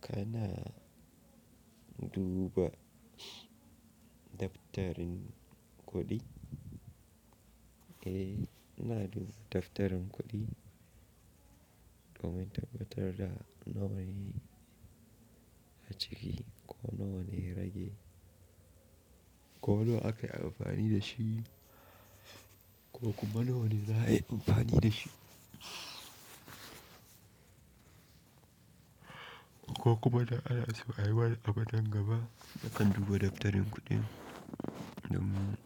Kana duba daftarin kuɗi? Eh, ina duba daftarin kuɗi domin tabbatar da nawa ne a ciki ko nawa ne rage, ko nawa aka yi amfani da shi ko kuma nawa ne za a yi amfani da shi, ko kuma da ana so ayi wani abu nan gaba. Nakan duba daftarin kuɗi don